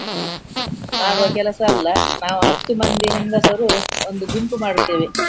ಮಾಡುವ ಕೆಲಸ ಅಲ್ಲ ನಾವು ಹತ್ತು ಮಂದಿ ಹೆಂಗಸರು ಒಂದು ಗುಂಪು ಮಾಡ್ತೇವೆ.